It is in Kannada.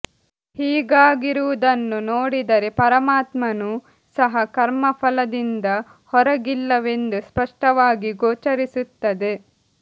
ಹೀಗಾಗಿರುವುದನ್ನು ನೋಡಿದರೆ ಪರಮಾತ್ಮನೂ ಸಹ ಕರ್ಮ ಫಲದಿಂದ ಹೊರಗಿಲ್ಲವೆಂದು ಸ್ಪಷ್ಟವಾಗಿ ಗೋಚರಿಸುತ್ತದೆ